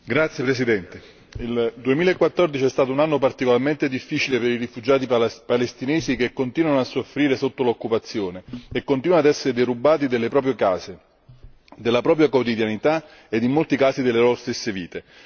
Signor Presidente, onorevoli colleghi, il 2014 è stato un anno particolarmente difficile per i rifugiati palestinesi che continuano a soffrire sotto l'occupazione e continuano a essere derubati delle proprie case, della propria quotidianità e, in molti casi, delle loro stesse vite.